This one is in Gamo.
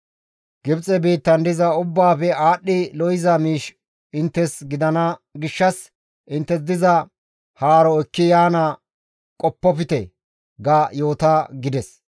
Gibxe biittan diza ubbaafe aadhdhi lo7iza miish inttes gidana gishshas inttes diza haaro ekki yaana qoppofte› ga yoota» gides.